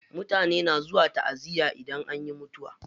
Mutane na zuwa taʼaziya idan anyi mutuwa.